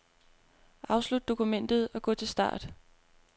Afslut dokumentet og gå til start.